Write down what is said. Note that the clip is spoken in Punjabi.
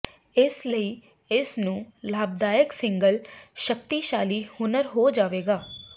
ਇਸ ਲਈ ਇਸ ਨੂੰ ਲਾਭਦਾਇਕ ਸਿੰਗਲ ਸ਼ਕਤੀਸ਼ਾਲੀ ਹੁਨਰ ਹੋ ਜਾਵੇਗਾ